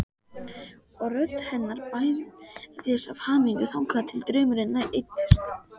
Og rödd hennar bærðist af hamingju þangað til draumurinn eyddist.